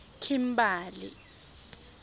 kimberley